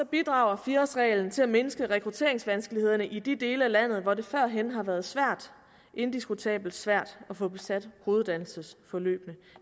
bidrager fire årsreglen til at mindske rekrutteringsvanskelighederne i de dele af landet hvor det førhen har været indiskutabelt svært at få besat hoveduddannelsesforløbene